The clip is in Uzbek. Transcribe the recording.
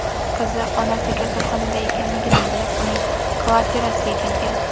Qizi onasi kasalxonada ekanligini bilib, uning kvartirasiga kelgan.